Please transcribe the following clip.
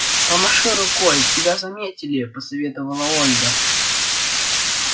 помаши рукой тебя заметили посоветовала ольга